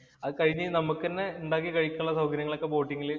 അതുകഴിഞ്ഞേ ഉണ്ടാക്കി കഴിക്കാനുള്ള സൗകര്യങ്ങള്‍ ഒക്കെ ബോട്ടില്